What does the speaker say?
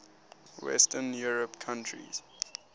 western european countries